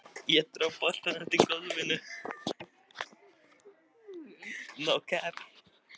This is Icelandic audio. Væri meira að segja búin að leggja drög að því.